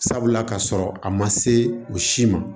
Sabula ka sɔrɔ a ma se u si ma